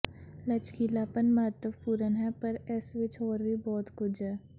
ਲਚਕੀਲਾਪਨ ਮਹੱਤਵਪੂਰਨ ਹੈ ਪਰ ਇਸ ਵਿੱਚ ਹੋਰ ਵੀ ਬਹੁਤ ਕੁਝ ਹੈ